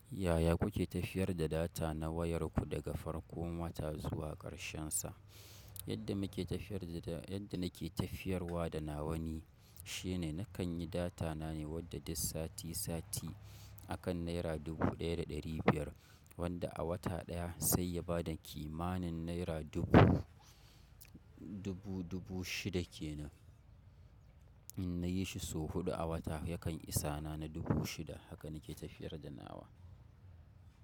Yaya kuke tafiyar da data na wayar ku daga farkon wata zuwa ƙarshensa? Yadda muke tafiyar da, yadda nake tafiyarwa da nawa ni shine, na kan yi data na ne wadda duk sati sati a kan naira dubu ɗaya da ɗari biyar wanda a wata ɗaya sai ya ba da kimanin naira dubu, dubu dubu shida ke nan. In na yi shi sau huɗu a wata yakan isa na dubu shida. Haka nake tafiyar da nawa.